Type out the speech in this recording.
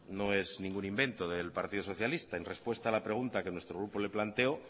no es ningún invento del partido socialista en respuesta a la pregunta que nuestro grupo le planteó